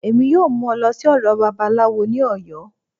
Emi yọọ mu ọ lọ si ọdọ Babalawọ ni Oyo.